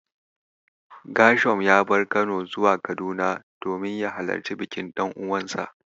Ghershom ya bar Kano zuwa Kaduna domin ya halarci bikin ɗan'uwansa.